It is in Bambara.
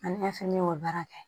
Ani o ye baara kɛ